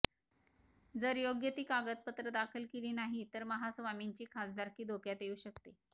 जर योग्य ती कागदपत्र दाखल केली नाही तर महास्वामींची खासदारकी धोक्यात येऊ शकते